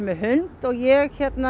hund og ég